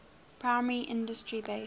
primary industry based